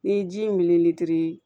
N'i ye ji in militi